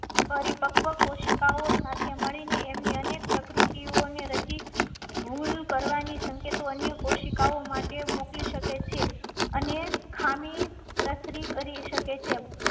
પરિ પક્વ કોશિકાઓ સાથે મળી ને એમ ની અને પ્રકૃતિ ઓને રચી ભૂલ કરવાની સંકેતો અન્ય કોશિકાઓ માટે મોકલી શકે છે. અન્ય ખામી પ્રસરી કરી શકે છે.